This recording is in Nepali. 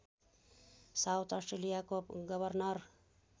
साउथ अस्ट्रेलियाको गवर्नर